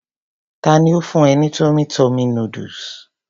Tani ó fún e ní tummy tummy noodles?